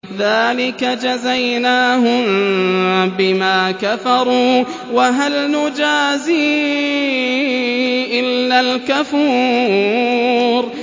ذَٰلِكَ جَزَيْنَاهُم بِمَا كَفَرُوا ۖ وَهَلْ نُجَازِي إِلَّا الْكَفُورَ